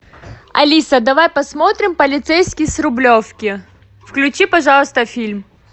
алиса давай посмотрим полицейский с рублевки включи пожалуйста фильм